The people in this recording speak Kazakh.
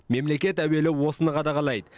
мемлекет әуелі осыны қадағалайды